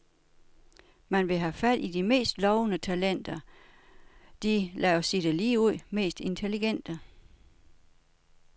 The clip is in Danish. Man vil have fat i de mest lovende talenter, de, lad os sige det ligeud, mest intelligente.